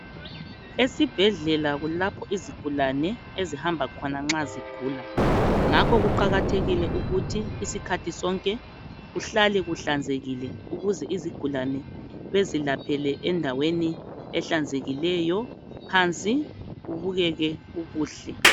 Esibhedlela kulapho izigulane ezihamba khona nxa zigula ngakho kuqakathekile ukuthi isikhathi sonke kuhlale kuhlanzekile ukuze izigulane bezilaphele endaweni ehlanzekileyo phansi kubukeke kukuhle